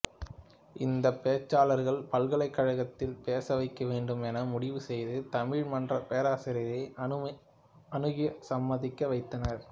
இந்தப் பேச்சாளர்களைப் பல்கலைக்கழகத்தில் பேச வைக்க வேண்டும் என முடிவு செய்து தமிழ் மன்ற பேராசிரியரை அணுகி சம்மதிக்க வைத்தனர்